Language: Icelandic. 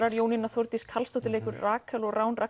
Þórdís Karlsdóttir leikur Rakel og Rán